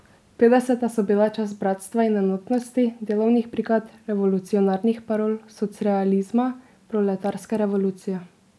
Petdeseta so bila čas bratstva in enotnosti, delovnih brigad, revolucionarnih parol, socrealizma, proletarske revolucije.